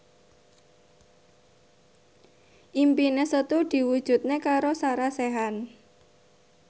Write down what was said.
impine Setu diwujudke karo Sarah Sechan